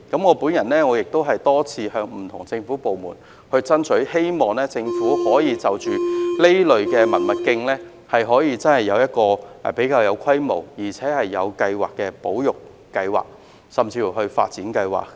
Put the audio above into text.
我亦多次向不同政府部門爭取，希望政府可以就着這類文物徑提出比較有規模而且有計劃的保育計劃，甚至是發展計劃。